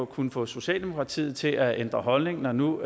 kunnet få socialdemokratiet til at ændre holdning når nu